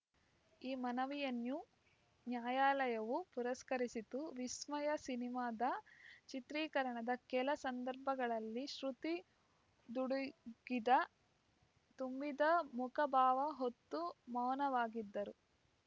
ಈ ಮನವಿಯನ್ನು ನ್ಯಾಯಾಲಯವು ಪುರಸ್ಕರಿಸಿತು ವಿಸ್ಮಯ ಸಿನಿಮಾದ ಚಿತ್ರೀಕರಣದ ಕೆಲ ಸಂದರ್ಭಗಳಲ್ಲಿ ಶ್ರುತಿ ದುಡಿಗಿದ ತುಂಬಿದ ಮುಖಭಾವ ಹೊತ್ತು ಮೌನವಾಗಿದ್ದರು